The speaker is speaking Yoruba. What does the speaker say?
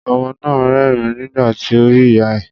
Ọmọ náà rẹ́rìn nígbà tí ó rí ìyá ẹ̀.